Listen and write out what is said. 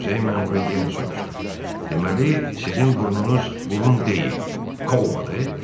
Muzey məmuru yenə soruşdu: “Deməli, sizin burnunuz burun deyil, kolbadır?”